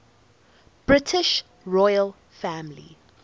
british royal family